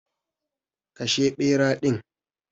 Kashe bera din.